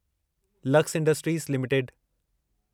lux industries limited